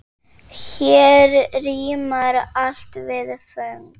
Hér rímar allt við föng.